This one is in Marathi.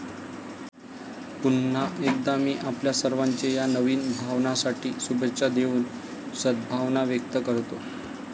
पुन्हा एकदा मी आपल्या सर्वांचे या नवीन भवनासाठी शुभेच्छा देवून सद्भावना व्यक्त करतो.